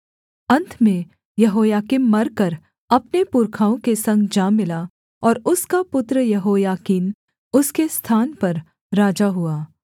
अन्त में यहोयाकीम मरकर अपने पुरखाओं के संग जा मिला और उसका पुत्र यहोयाकीन उसके स्थान पर राजा हुआ